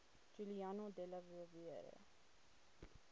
giuliano della rovere